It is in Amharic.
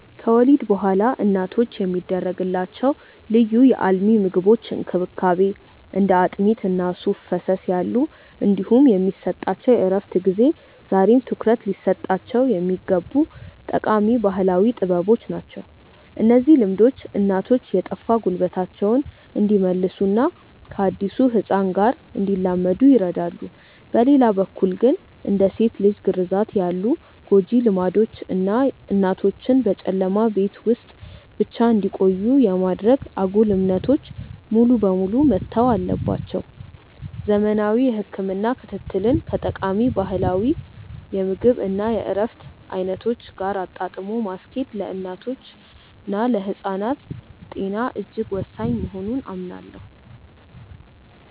ከወሊድ በኋላ እናቶች የሚደረግላቸው ልዩ የአልሚ ምግቦች እንክብካቤ (እንደ አጥሚት እና ሱፍ ፈሰስ ያሉ) እንዲሁም የሚሰጣቸው የእረፍት ጊዜ ዛሬም ትኩረት ሊሰጣቸው የሚገቡ ጠቃሚ ባህላዊ ጥበቦች ናቸው። እነዚህ ልምዶች እናቶች የጠፋ ጉልበታቸውን እንዲመልሱና ከአዲሱ ህፃን ጋር እንዲላመዱ ይረዳሉ። በሌላ በኩል ግን፣ እንደ ሴት ልጅ ግርዛት ያሉ ጎጂ ልማዶች እና እናቶችን በጨለማ ቤት ውስጥ ብቻ እንዲቆዩ የማድረግ አጉል እምነቶች ሙሉ በሙሉ መተው አለባቸው። ዘመናዊ የህክምና ክትትልን ከጠቃሚ ባህላዊ የምግብ እና የእረፍት አይነቶች ጋር አጣጥሞ ማስኬድ ለእናቶችና ለህፃናት ጤና እጅግ ወሳኝ መሆኑን አምናለሁ።